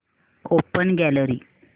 open gallery